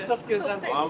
Xankəndi çox gözəldir.